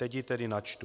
Teď ji tedy načtu.